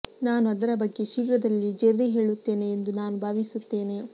ನಾನು ಅದರ ಬಗ್ಗೆ ಶೀಘ್ರದಲ್ಲಿ ಜೆರ್ರಿ ಹೇಳುತ್ತೇನೆ ಎಂದು ನಾನು ಭಾವಿಸುತ್ತೇನೆ